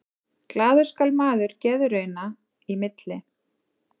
Glaður skal maður geðrauna í milli.